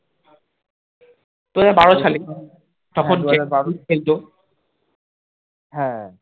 হ্যাঁ